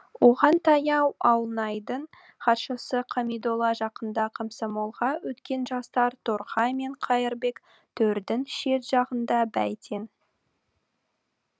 оған таяу ауылнайдың хатшысы қамидолла жақында комсомолға өткен жастар торғай мен қайырбек төрдің шет жағында бәйтен